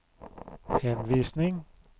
henvisning